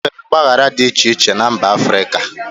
E nwere ọgbaghara dị iche iche na mba Africa.